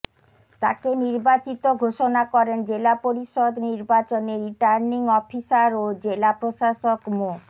তাকে নির্বাচিত ঘোষণা করেন জেলা পরিষদ নির্বাচনে রিটার্নিং অফিসার ও জেলা প্রশাসক মো